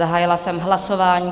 Zahájila jsem hlasování.